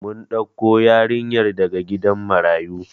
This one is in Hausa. Mun ɗauko yarinyar daga gidan marayu